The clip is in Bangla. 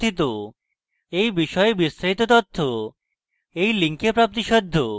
এই বিষয়ে বিস্তারিত তথ্য এই link প্রাপ্তিসাধ্য